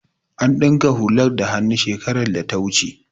An dinka hular da hannu shekarar data wuce